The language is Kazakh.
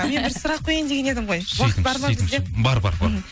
мен бір сұрақ қояйын деген едім ғой уақыт бар ма бізде бар бар бар